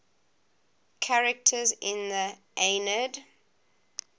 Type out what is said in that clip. characters in the aeneid